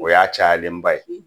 O y'a cayalenba ye